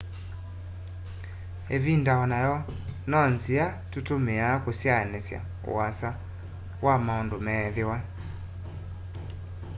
ivinda onayo no nzia tutumiia kusyaanisya uasa wa maundu meethiwa